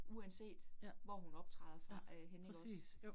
Uanset hvor hun optræder fra øh henne ikke også